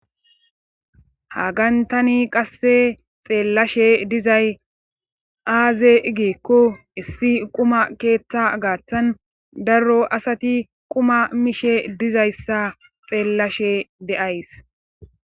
hagantani qasse xeellashe dizay aaze igiikko issi quma keeththa gaathtan daro asati quma mishe dizayssa xeellashe de'ays